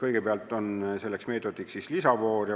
Kõigepealt on selleks ette nähtud lisavoor.